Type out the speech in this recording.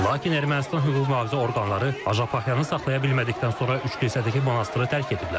Lakin Ermənistan hüquq-mühafizə orqanları Açapaxyanı saxlaya bilmədikdən sonra üç kilsədəki monastrı tərk ediblər.